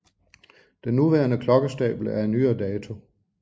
Den nuværende klokkestabel er af nyere dato